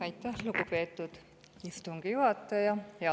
Aitäh, lugupeetud istungi juhataja!